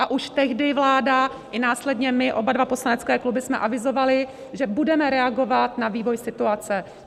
A už tehdy vláda i následně my oba dva poslanecké kluby jsme avizovaly, že budeme reagovat na vývoj situace.